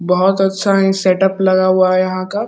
बहोत अच्छा ही सेटअप लगा हुआ है यहां का।